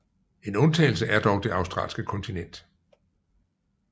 En undtagelse er dog det australske kontinent